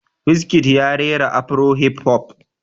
Wizkid ya rera Afro-hiphop